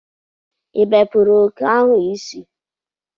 ịbepụrụ oke ahụ isi?